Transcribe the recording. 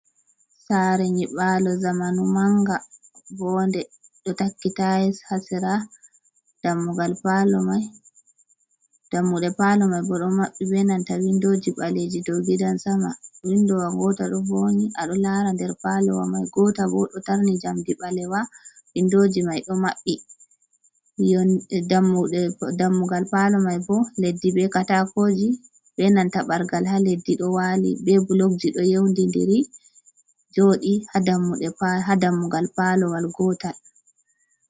Sare nyiɓalo zamanu manga vonde ɗo takki tayis ha sera dammugal palo mai. Dammuɗe palo mai bo ɗo maɓɓi be nanta windoji ɓaleji dow gidan sama windowal gotal ɗo vonyi a ɗo lara nder palo wa mai gotel bo ɗo tarni jamdi ɓalewa windoji mai maɓɓi dammugal palo mai bo leddi be katako ji be nanta bargal ha leddi ɗo wali be blokji ɗo yeudindiri joɗi ha dammugal palo wal gotal.